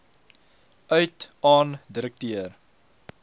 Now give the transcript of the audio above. uit aan direkteur